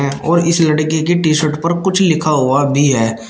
और इस लड़के की टी शर्ट पर कुछ लिखा हुआ भी है।